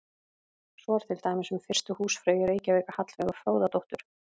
Svo er til dæmis um fyrstu húsfreyju í Reykjavík, Hallveigu Fróðadóttur.